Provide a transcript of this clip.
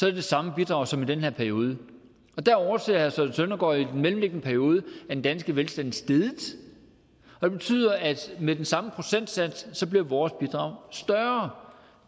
det det samme bidrag som i den her periode der overser herre søren søndergaard jo den mellemliggende periode er den danske velstand steget det betyder at med den samme procentsats bliver vores bidrag større